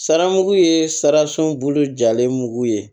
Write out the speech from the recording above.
Sara mugu ye sarisun bolo jalen mugu ye